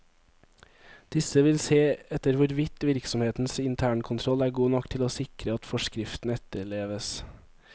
Disse vil se etter hvorvidt virksomhetens internkontroll er god nok til å sikre at forskriften etterleves.